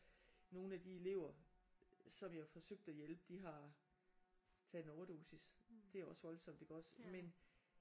Nogle af de elever som jeg har forsøgt at hjælpe de har taget en overdosis. Det er også voldsomt iggås men